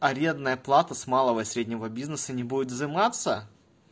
арендная плата с малого и среднего бизнеса не будет взиматься